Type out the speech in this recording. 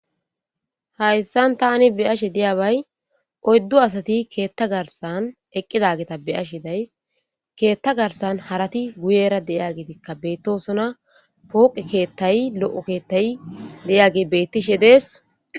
Hayssan tani beyashe diyabay oyddu asati keetta garsan eqqidageta beyashe days keetta garsan harati guyera deya gitikka beettosona pooqi keettay lo'o keettay deyage bettishe dees.